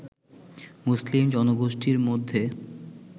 মুসলিম জনগোষ্ঠীর মধ্যে